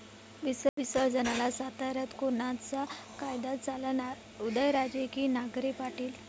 विसर्जनाला साताऱ्यात कोणाचा कायदा चालणार? उदयराजे की नांगरे पाटील?